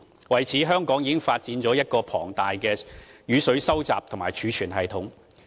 為此，香港已發展了一個龐大的雨水收集及儲存系統。